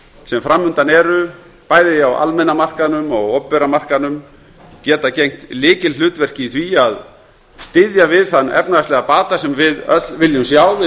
sem fram undan eru bæði á almenna markaðnum og opinbera markaðnum geta gegnt lykilhlutverki í því að styðja við þann efnahagslega bata sem við öll viljum sjá við